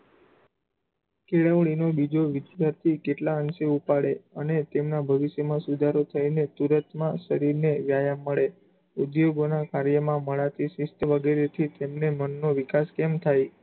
કેળવણીનો બીજો વિધ્યાર્થી કેટલાં અંશે ઉપાડે અને તેમનાં ભવિષ્યમાં સુધારો થયીને તુરંતમાં શરીરને વ્યાયામ મળે, ઉદ્ધયોગોનાં કાર્યમાં વગેરેથી તેમને મનનો વિકાસ કેમ થાય?